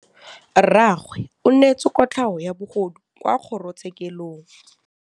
Rragwe o neetswe kotlhaô ya bogodu kwa kgoro tshêkêlông.